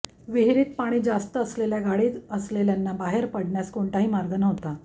विहिरीत पाणी जास्त असल्याने गाडीत असलेल्यांना बाहेर पडण्यास कोणताही मार्ग नव्हता